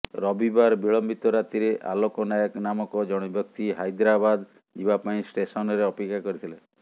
ରବିବାର ବିଳମ୍ବିତ ରାତିରେ ଆଲୋକ ନାୟକ ନାମକ ଜଣେ ବ୍ୟକ୍ତି ହାଇଦ୍ରାବାଦ ଯିବା ପାଇଁ ଷ୍ଟେସନ୍ରେ ଅପେକ୍ଷା କରିଥିଲେ